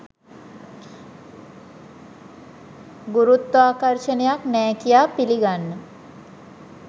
ගුරුත්වාකර්ශණයක් නෑ කියා පිළිගන්න